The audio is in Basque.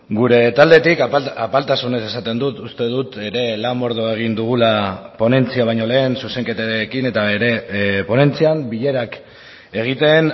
gure taldetik apaltasunez esaten dut uste dut ere lan mordoa egin dugula ponentzia baino lehen zuzenketekin eta ere ponentzian bilerak egiten